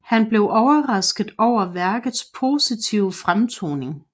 Han blev overrasket over værkets positive fremtoning